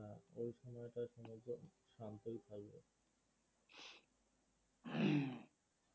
হ্যাঁ ওই সময়টাই সমুদ্র শান্তই থাকবে